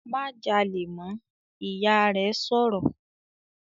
"Má jalè mọ́!", Ìyá rẹ̀ sọ̀rọ̀